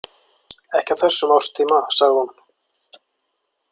Ekki á þessum árstíma, sagði hún.